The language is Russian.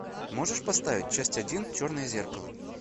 можешь поставить часть один черное зеркало